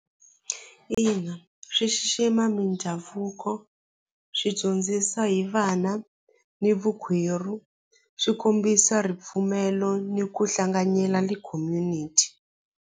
Ina swi xixima mindhavuko swi dyondzisa hi vana ni vukwerhu swi kombisa ripfumelo ni ku hlanganyela community.